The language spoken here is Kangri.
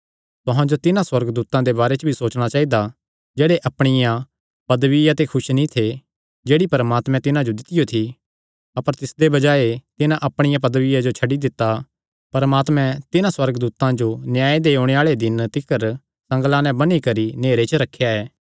तुहां जो तिन्हां सुअर्गदूतां दे बारे च भी सोचणा चाइदा जेह्ड़े अपणिया पदविया ते खुस नीं थे जेह्ड़ी परमात्मे तिन्हां जो दित्तियो थी अपर तिसदे बजाये तिन्हां अपणिया पदविया जो छड्डी दित्ता परमात्मे तिन्हां सुअर्गदूतां जो न्याय दे ओणे आल़े दिने तिकर संगल़ां नैं बन्नी करी नेहरे च रखेया ऐ